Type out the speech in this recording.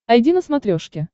айди на смотрешке